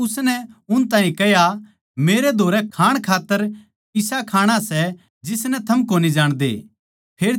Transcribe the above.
पर उसनै उन ताहीं कह्या मेरै धोरै खाण खात्तर इसा खाणा सै जिसनै थम कोनी जाणदे